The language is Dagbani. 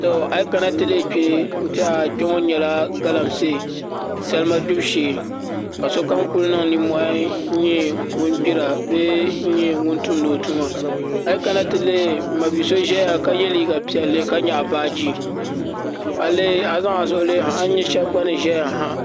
A yi kana ti lihi kpɛ n tiɛha kpɛ ŋo nyɛla galamsee salima gbibu shee ka sokam ku niŋ nimmohi n nyɛ ŋun gbira bee n nyɛ ŋun tumdi o tuma a yi kana ti lihi n ma bi so ʒɛya ka yɛ liiga piɛli ka nyaɣa baaji a yi zaŋ a zuɣu lihi ha a ni nyɛ shab gba ni ʒɛya ha